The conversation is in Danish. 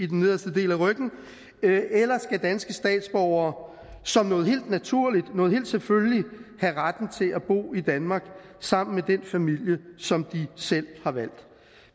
den nederste del af ryggen eller skal danske statsborgere som noget helt naturligt noget helt selvfølgeligt have retten til at bo i danmark sammen med den familie som de selv har valgt